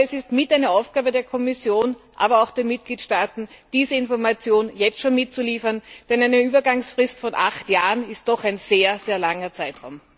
Es ist Aufgabe der Kommission und der Mitgliedstaaten, diese Information jetzt schon mitzuliefern, denn eine Übergangsfrist von acht Jahren ist doch ein sehr, sehr langer Zeitraum.